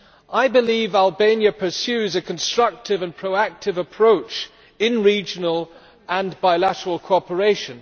I believe Albania pursues a constructive and proactive approach in regional and bilateral cooperation.